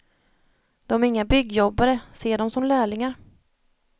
De är inga byggjobbare, se dem som lärlingar.